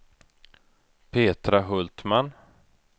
Petra Hultman